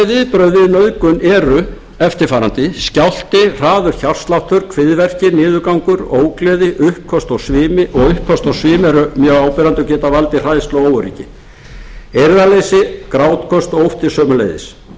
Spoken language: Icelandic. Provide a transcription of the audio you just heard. viðbrögð við nauðgun eru eftirfarandi skjálfti hraður hjartsláttur kviðverkir niðurgangur ógleði uppköst og svimi eru mjög áberandi og geta valdið hræðslu og óöryggi eirðarleysi grátköst og ótti sömuleiðis